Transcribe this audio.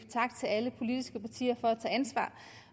tak til alle politiske partier for at tage ansvar